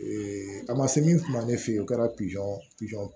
a ma se min kuma ne fɛ yen o kɛra pizɔn pizɔn